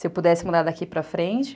Se eu pudesse mudar daqui para frente?